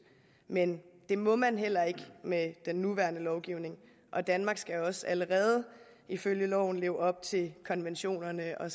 men det må man heller ikke med den nuværende lovgivning og danmark skal jo også allerede ifølge loven leve op til konventionerne og